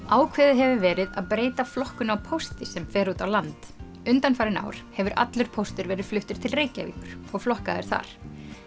ákveðið hefur verið að breyta flokkun á pósti sem fer út á land undanfarin ár hefur allur póstur verið fluttur til Reykjavíkur og flokkaður þar